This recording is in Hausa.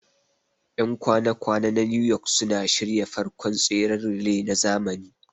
Ƴan kwana kwana na New York suka shirya farkon tseren relay na zamani